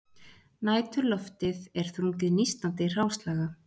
Næturloftið er þrungið nístandi hráslaga